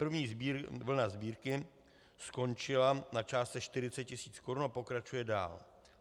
První vlna sbírky skončila na částce 40 000 korun a pokračuje dál.